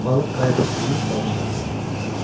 Balıq qayığı sürüyüb dalınca aparırdı.